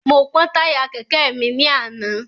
Mo pọ́ táyà kẹ̀kẹ́ mi ní àná.